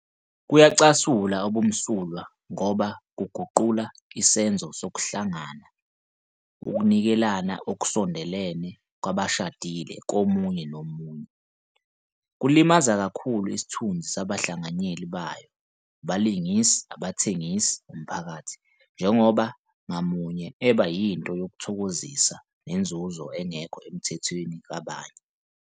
Kuyacasula ubumsulwa ngoba kuguqula isenzo sokuhlangana, ukunikelana okusondelene kwabashadile komunye nomunye. Kulimaza kakhulu isithunzi sabahlanganyeli bayo, abalingisi, abathengisi, umphakathi, njengoba ngamunye eba yinto yokuthokozisa nenzuzo engekho emthethweni kwabanye.